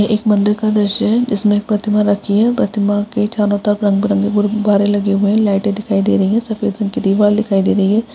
--ह एक मंदिर का दृश्य है जिस में एक प्रतिमा रखी है प्रतिमा के चारों तरफ रंग-बिरंगे के गुब्बारे लगे है लाइटें दिखाई दे रही है सफ़ेद रंग की दिवार दिखाई दे रही है।